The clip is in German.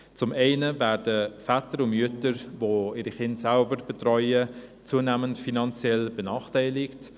Zum einen werden Väter und Mütter, die ihre Kinder selber betreuen, zunehmend finanziell benachteiligt.